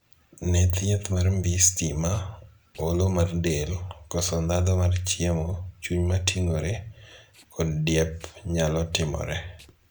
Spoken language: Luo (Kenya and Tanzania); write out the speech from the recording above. Ne thieth mar mbii stima, olo mar del, koso ndhatho mar chiemo, chuny mating'ore, kod diep nyalo timore.